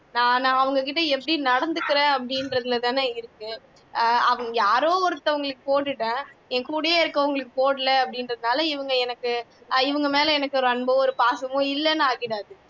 நான் அவங்ககிட்ட எப்படி நடந்துக்கிறேன் அப்படிங்கிறதுலதான் இருக்கு அஹ் யாரோ ஒருத்தருக்கு போட்டுட்டேன் என் கூடவே இருக்கிறவங்களுக்கு போடலை அப்படின்றதால இவங்க எனக்கு இவங்க மேல எனக்கு ஒரு அன்போ ஒரு பாசமோ இல்லைன்னு ஆகிடாது